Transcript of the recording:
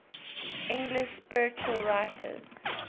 english spiritual writers